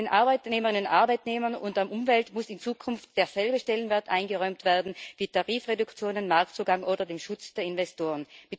Den Arbeitnehmerinnen und Arbeitnehmern und der Umwelt muss in Zukunft derselbe Stellenwert eingeräumt werden wie Tarifreduktionen, Marktzugang oder dem Schutz der Investoren.